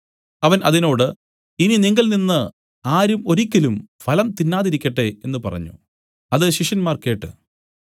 അവൻ അതിനോട് ഇനി നിങ്കൽനിന്ന് ആരും ഒരിക്കലും ഫലം തിന്നാതിരിക്കട്ടെ എന്നു പറഞ്ഞു അത് ശിഷ്യന്മാർ കേട്ട്